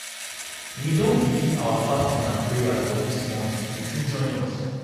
We don begin our fasting and praying for dis month, you fit join us.